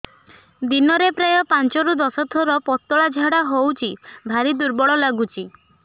ଦିନରେ ପ୍ରାୟ ପାଞ୍ଚରୁ ଦଶ ଥର ପତଳା ଝାଡା ହଉଚି ଭାରି ଦୁର୍ବଳ ଲାଗୁଚି